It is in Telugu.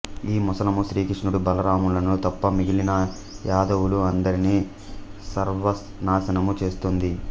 ఆ ముసలము శ్రీకృష్ణుడు బలరాములను తప్ప మిగిలిన యాదవులు అందరిని సర్వనాశనము చేస్తుంది